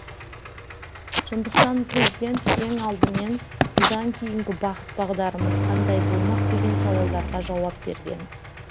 сондықтан президент ең алдымен бұдан кейінгі бағыт бағдарымыз қандай болмақ деген сауалдарға жауап берген